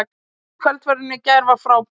Kvöldverðurinn í gær var frábær